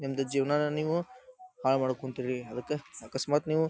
ನಿಮ್ಮದು ಜೀವನನ ನೀವು ಹಾಳ್ ಮಾಡ್ಕೊಂತೀರಿ ಅದಕ್ಕ ಅಕಸ್ಮಾತ್ ನೀವು--